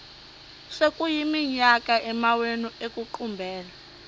sekuyiminyaka amawenu ekuqumbele